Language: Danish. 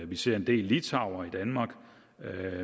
vi ser en del litauere i danmark